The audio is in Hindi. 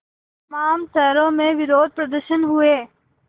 तमाम शहरों में विरोधप्रदर्शन हुए